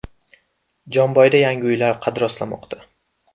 Jomboyda yangi uylar qad rostlamoqda.